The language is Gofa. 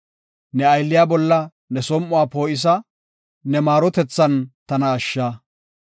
Ne aylliya bolla ne som7uwa poo7isa; ne maarotethan tana ashsha.